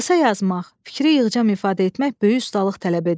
Qısa yazmaq, fikri yığcam ifadə etmək böyük ustalıq tələb edir.